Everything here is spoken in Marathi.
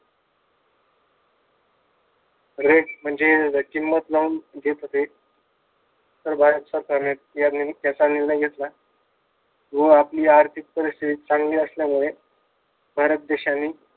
Rate म्हणजे किंमत लावून देत होते. तर भारत सरकारने देण्याचा निर्णय घेतला व आआपली र्थिक परिस्थिती चांगली असल्यामुळे भारत देशाने